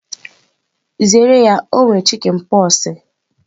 Zere ya o nwere chikinpoksi!